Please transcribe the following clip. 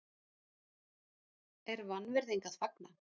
er vanvirðing að fagna?